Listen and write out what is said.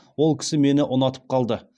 ол кісі мені ұнатып қалды